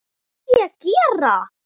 Hvað er ég að gera?